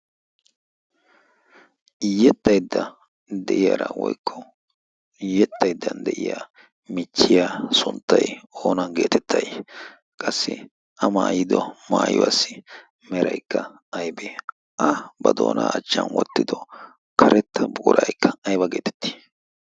iyyexxaiddan de'iyaara woikko iyyexxaiddan de'iya michchiya sunttai oonan geetettai qassi a maayido maayiwaassi meraikka aybe a ba doonaa achchan wottido karetta puuraikka aiba geetettii?